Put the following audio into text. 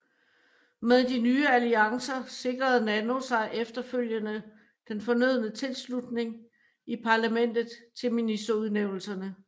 Med de nye alliancer sikrede Nano sig efterfølgende den fornødne tilslutning i parlamentet til ministerudnævnelserne